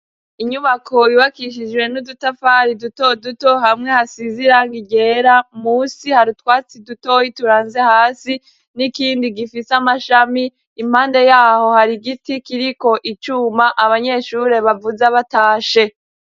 Inyubako ibakishiwe n'udutafari duto duto hamwe hasize irangi ryera musi harutwatsi dutoyi turanze hasi n'ikindi gifise amashami impande yaho hari giti kiriko icuma abanyeshuri bavuze batashe.